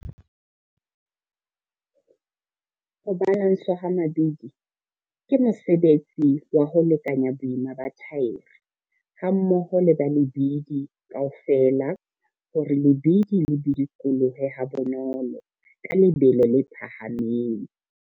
Ho balanswa ha mabidi ke mosebetsi wa ho lekanya boima ba thaere hammoho le ba lebidi kaofela hore lebidi le bidikolohe habonolo ka lebelo le phahameng.